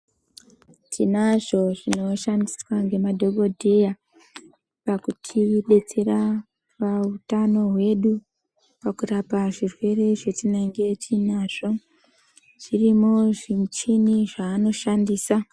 Tinazvo zvinoshandiswa ngemadhokodheya, pakutidetsera pautano hwedu, pakurapa zvirwere zvetinenge tiinazvo. Zvirimwo zvimuchini zveanoshandisa.